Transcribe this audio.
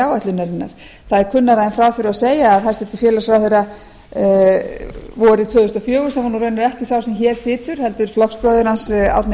áætlunarinnar það er kunnara en frá þurfi að segja að hæstvirtur félagsmálaráðherra vorið tvö þúsund og fjögur sem er raunar ekki sá sem hér situr heldur flokksbróðir hans árni